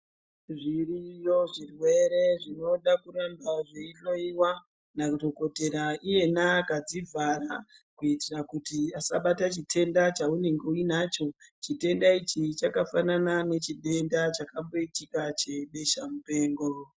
Zviriyo zvirwere zvinoda kuramba zveihloiwa nadhokotera iyena akadzivhara kuitira kuti asabata chitenda chaunenge uinacho chitenda ichi chakafanana nechitenda chakamboitika chebesha mupengo.